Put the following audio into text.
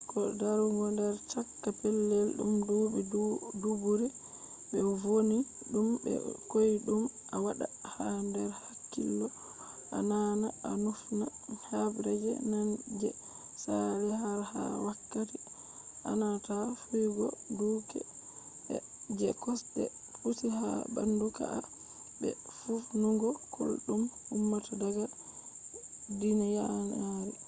ko darugo nder chaka pellel dum dubi-dubure be vonni dum be koydum a wadda ha der hakkilo bo a naana a nufna habre je nane je saali har ha wakati ananata fiyugo duuke je kosde pucci ha bandu ka'a be nufnugo kullol dum ummata daga gidanyaari